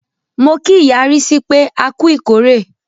Mo kí ìyá Rísí pé, a ku ìkórè.